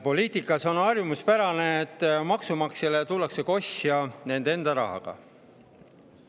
Poliitikas on harjumuspärane, et maksumaksjale tullakse kosja tema enda rahaga.